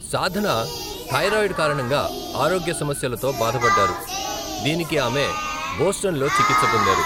సాధన thyroid కారణంగా ఆరోగ్య సమస్యలుతో భాధ పడ్డారు, దీనికి ఆమె బోస్టన్లో చికిత్స పొందారు.